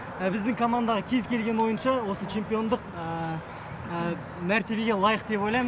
біздің командағы кез келген ойыншы осы чемпиондық мәртебеге лайық деп ойлаймын